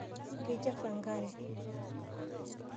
Keichafu enkare.